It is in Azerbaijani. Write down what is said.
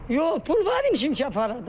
Yox, pul var imiş ki, aparadı.